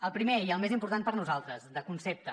el primer i el més important per nosaltres de concepte